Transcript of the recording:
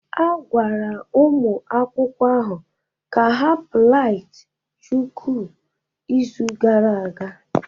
A gwara ụmụ akwụkwọ ahụ ka ha plait chuku izu gara aga